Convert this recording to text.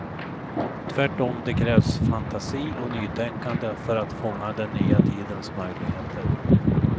Tvärtom, det krävs fantasi och nytänkande för att fånga den nya tidens möjligheter.